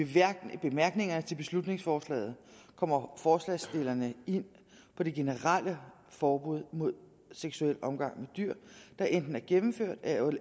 i bemærkningerne til beslutningsforslaget kommer forslagsstillerne ind på det generelle forbud mod seksuel omgang med dyr der enten er gennemført